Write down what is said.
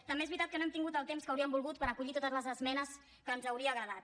també és veritat que no hem tingut el temps que hauríem volgut per acollir totes les esmenes que ens hauria agradat